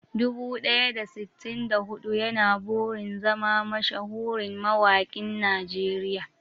Dubu ɗaya da sittin da huɗu yana burin zama mashahurin mawaƙin Najeriya.